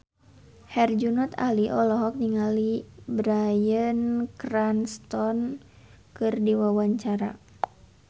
Herjunot Ali olohok ningali Bryan Cranston keur diwawancara